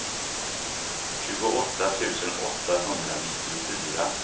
tjugoåtta tusen åttahundranittiofyra